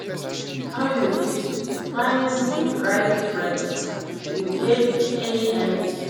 How you fit find di right friends, you get any idea?